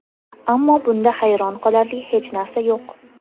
Ammo bunda hayron qolarli hech narsa yo‘q.